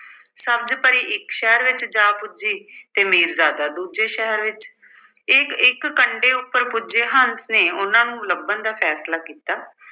ਸਬਜ਼ ਪਰੀ ਇੱਕ ਸ਼ਹਿਰ ਵਿੱਚ ਜਾ ਪੁੱਜੀ ਤੇ ਮੀਰਜ਼ਾਦਾ ਦੂਜੇ ਸ਼ਹਿਰ ਵਿੱਚ ਇੱਕ-ਇੱਕ ਕੰਢੇ ਉੱਪਰ ਪੁੱਜੇ ਹੰਸ ਨੇ ਉਨ੍ਹਾਂ ਨੂੰ ਲੱਭਣ ਦਾ ਫੈਸਲਾ ਕੀਤਾ।